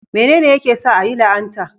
Menene yake sa a yi la'anta?